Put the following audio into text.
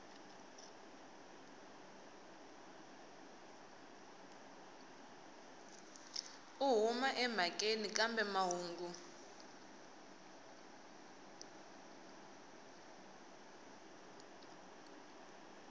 u huma emhakeni kambe mahungu